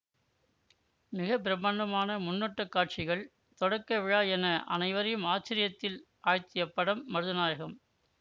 மிக பிரம்மாண்டமான முன்னோட்டக் காட்சிகள் தொடக்கவிழா என அனைவரையும் ஆச்சர்யத்தில் ஆழ்த்திய படம் மருதநாயகம்